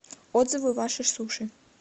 отзывы ваши суши